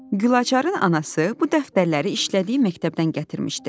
Gülaçarın anası bu dəftərləri işlədiyi məktəbdən gətirmişdi.